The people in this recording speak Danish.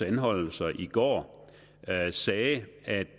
anholdelser i går sagde at